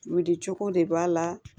Wuli cogo de b'a la